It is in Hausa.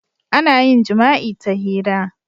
Ana yin jima'i ta hira.